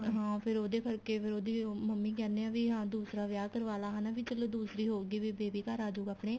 ਹਾਂ ਫੇਰ ਉਹਦੇ ਕਰਕੇ ਫੇਰ ਉਹਦੀ ਮੰਮੀ ਕਹਿਨੇ ਏ ਵੀ ਹਾਂ ਦੂਸਰਾ ਵਿਆਹ ਕਰਵਾ ਲੈ ਹਨਾ ਵੀ ਚਲੋ ਦੂਸਰੀ ਹੋਊਗੀ baby ਘਰ ਅਜੁਗਾ ਆਪਣੇ